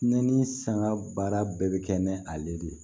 Ne ni sanga baara bɛɛ bɛ kɛ ni ale de ye